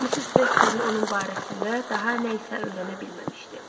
Missis Vesterin onun barəsində daha nə isə öyrənə bilməmişdi.